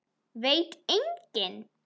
Veit enginn?